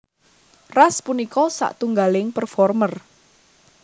Ras punika satunggaling performer